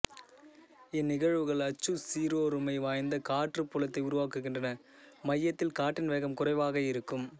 இந்நிகழ்வுகள் அச்சுச் சீரொருமை வாய்ந்த காற்றுப் புலத்தை உருவாக்குகின்றன மையத்தில் காற்றின் வேகம் குறைவாக இருக்கும்